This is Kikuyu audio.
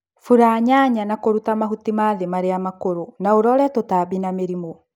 Bula nyanya na kũruta mahuti ma thĩ marĩa makũrũ na ũrore tũtambi na mĩrimũ